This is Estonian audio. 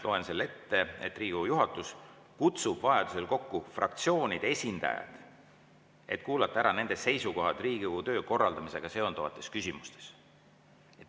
Loen selle ette: "Riigikogu juhatus kutsub vajadusel kokku fraktsioonide esindajad, et kuulata ära nende seisukohad Riigikogu töö korraldamisega seonduvates küsimustes.